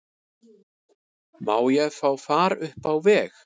Má ég fá far upp á veg?